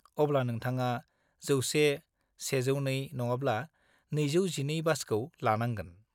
अब्ला नोंथाङा 100, 102 नङाब्ला 212 बासखौ लानांगोन।